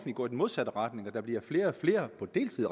går i den modsatte retning og der bliver flere og flere på deltid